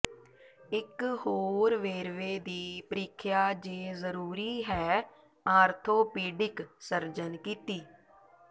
ਇੱਕ ਹੋਰ ਵੇਰਵੇ ਦੀ ਪ੍ਰੀਖਿਆ ਜੇ ਜਰੂਰੀ ਹੈ ਆਰਥੋਪੀਡਿਕ ਸਰਜਨ ਕੀਤੀ